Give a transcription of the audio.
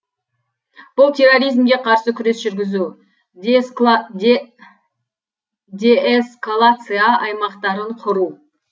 бұл терроризмге қарсы күрес жүргізу деэскалация аймақтарын құру